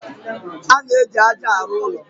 A na-eji ájá arụ ụlọ.